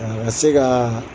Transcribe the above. A ka se kaa